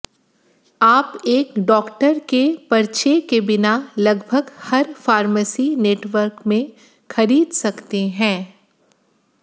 आप एक डॉक्टर के पर्चे के बिना लगभग हर फार्मेसी नेटवर्क में खरीद सकते हैं